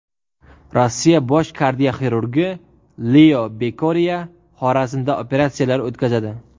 Rossiya bosh kardioxirurgi Leo Bokeriya Xorazmda operatsiyalar o‘tkazadi.